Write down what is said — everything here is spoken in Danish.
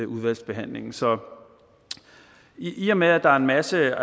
udvalgsbehandlingen så i og med at der er en masse